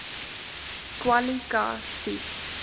kwali ka sies